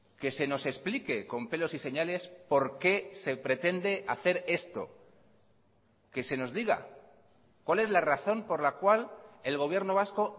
que se nos explique con pelos y señales por qué se pretende hacer esto que se nos diga cuál es la razón por la cual el gobierno vasco